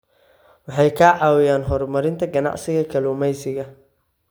Waxay ka caawiyaan horumarinta ganacsiyada kalluumeysiga.